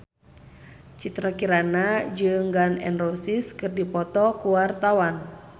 Citra Kirana jeung Gun N Roses keur dipoto ku wartawan